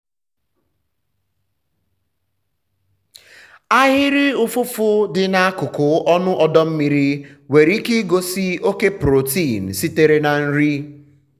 ahịrị ụfụfụ dị n'akụkụ ọnụ ọdọ mmiri nwere ike igosi oke protein sitere na nri.